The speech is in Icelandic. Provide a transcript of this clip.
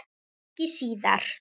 Ekki síðar.